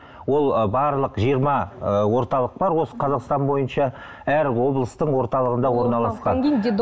ол ы барлық жиырма ы орталық бар осы қазақстан бойынша әр облыстың орталығында орналасқан